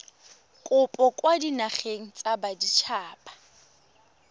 kopo kwa dinageng tsa baditshaba